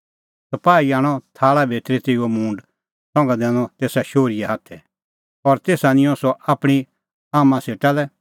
सपाही आणअ थाल़ा भितरी तेऊओ मूंड संघा दैनअ तेसा शोहरीए हाथै और तेसा निंयं सह आपणीं आम्मां सेटा लै